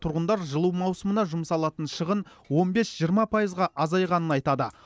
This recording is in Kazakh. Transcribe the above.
тұрғындар жылу маусымына жұмсалатын шығын он бес жиырма пайызға азайғанын айтады